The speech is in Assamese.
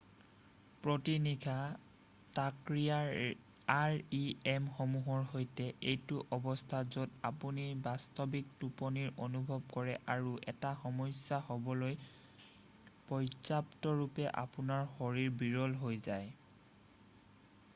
প্ৰতি নিশা তাকৰীয়া rem সমূহৰ সৈতে এইটো অৱস্থা য'ত আপুনি বাস্তৱিক টোপনিৰ অনুভৱ কৰে আৰু এটা সমস্যা হ'বলৈ পৰ্য্যাপ্তৰূপে আপোনাৰ শৰীৰ বিৰল হৈ যায়৷